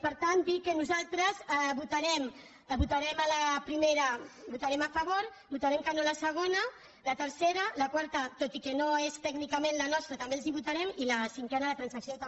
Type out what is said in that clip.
per tant dir que nosaltres votarem a la primera votarem a favor votarem que no a la segona la tercera la quarta tot i que no és tècnicament la nostra també els la votarem i la cinquena la transacció també